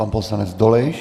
Pan poslanec Dolejš.